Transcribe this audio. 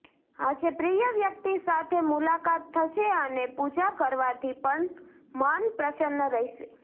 આજે પ્રિય વ્યક્તિ સાથે મુલાકાત થશે અને પૂજા કરવાથી મન પ્રસન્ન રહેશે